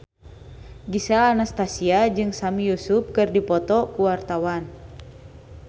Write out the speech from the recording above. Gisel Anastasia jeung Sami Yusuf keur dipoto ku wartawan